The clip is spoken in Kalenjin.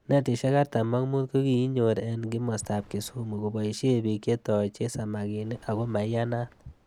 Netishek artam ak mut koikinyor eng kimosta ab Kisumu koboishe bik chetochei samakinik ako maiyanat.